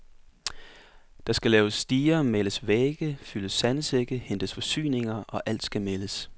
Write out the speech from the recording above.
Der skal laves stiger, males vægge, fyldes sandsække, hentes forsyninger, og alt skal meldes.